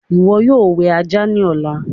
ìwo yóò wẹ ajá ní Ọlá.